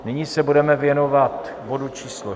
Nyní se budeme věnovat bodu číslo